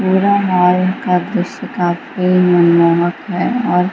पूरा मॉल का दृश्य काफी मनमोहक है और --